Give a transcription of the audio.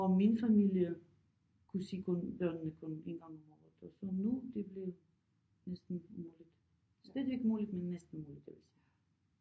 Og min familie kunne se kun børnene kun en gang om året og så nu det blevet næsten umuligt slet ikke umuligt men næsten umuligt jeg vil sige